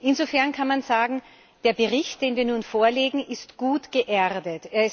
Insofern kann man sagen Der Bericht, den wir nun vorlegen, ist gut geerdet.